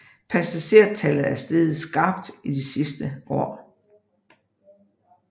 Passagertallet er steget skarpt i de sidste år